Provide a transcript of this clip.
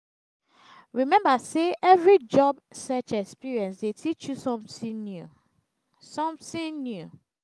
remember say every job search experience dey teach you something new. something new.